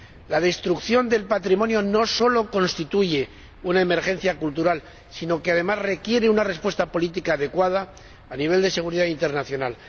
La destrucción del patrimonio no solo constituye una emergencia cultural, sino que, además, requiere una respuesta política adecuada a nivel de seguridad internacional.